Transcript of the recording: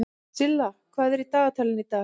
Silla, hvað er í dagatalinu í dag?